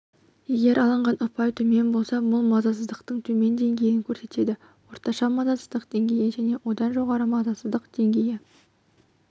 егер алынған ұпай төмен болса бұл мазасыздықтың төмен деңгейін көрсетеді орташа мазасыздық деңгейі және одан жоғары жоғары мазасыздық